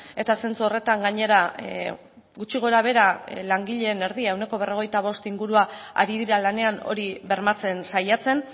eta zentzu horretan gainera gutxi gorabehera langileen erdia ehuneko berrogeita bost inguruan ari dira lanean hori bermatzen saiatzen